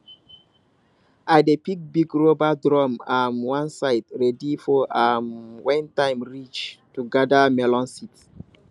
i dey keep big rubber drum um one side ready for um when time reach to gather melon seed